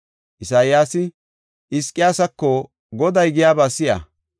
Isayaasi Hizqiyaasako, “Goday giyaba si7a.